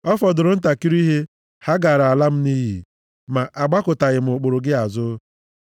Ọ fọdụrụ ntakịrị ihe, ha gaara ala m nʼiyi, ma agbakụtaghị m ụkpụrụ gị azụ.